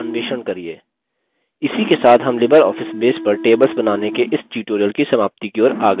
इसी के साथ हम libreoffice base पर tables बनाने के इस tutorial की समाप्ति की ओर आ गये हैं